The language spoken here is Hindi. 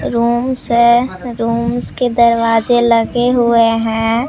रूम्स है रूम्स के दरवाजे लगे हुए हैं।